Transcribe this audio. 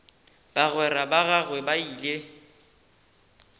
bagwera ba gagwe ba ile